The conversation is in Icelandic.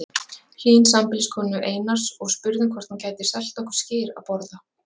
Hlín, sambýliskonu Einars, og spurðum hvort hún gæti selt okkur skyr að borða.